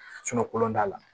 kolon t'a la